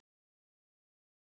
Hann yrði dýr.